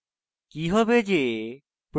কি হবে যে